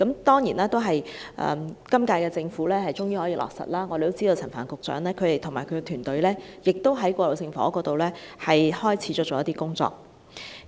當然，今屆政府終於落實建議，我們知道陳帆局長與其團隊在過渡性房屋方面正在開始一些工作。